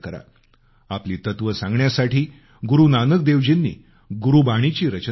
आपली तत्वं सांगण्यासाठी गुरु नानक देवजींनी गुरबाणी ची रचना केली